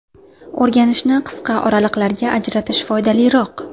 O‘rganishni qisqa oraliqlarga ajratish foydaliroq.